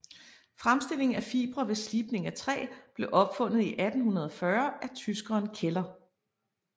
Fremstilling af fibre ved slibning af træ blev opfundet i 1840 af tyskeren Keller